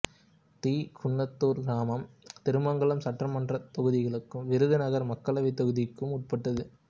D Kunnathur கிராமம் திருமங்கலம் சட்டமன்றத் தொகுதிக்கும் விருதுநகர் மக்களவைத் தொகுதிக்கும் உட்பட்டது